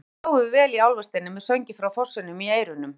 Um nóttina sváfum við vel í Álfasteini með sönginn frá fossinum í eyrunum.